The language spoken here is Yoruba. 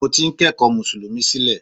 Mo ti ń ko ẹ̀kọ́ mùsùlùmí sílẹ̀